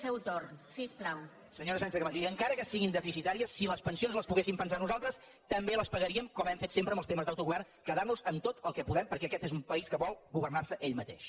senyora sánchez camacho i encara que siguin deficitàries si les pensions les poguéssim pagar nosaltres també les pagaríem com hem fet sempre en els temes d’autogovern quedar nos amb tot el que podem perquè aquest és un país que vol governar se ell mateix